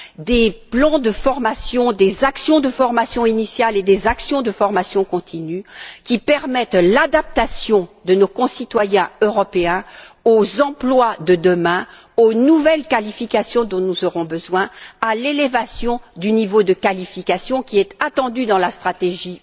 des plans de formation, des actions de formation initiale et des actions de formation continue, qui permettent l'adaptation de nos concitoyens européens aux emplois de demain, aux nouvelles qualifications dont nous aurons besoin, à l'élévation du niveau de qualifications qui est attendu dans la stratégie